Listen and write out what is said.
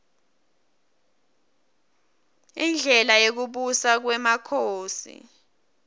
indlela yekubusa kwmakhosi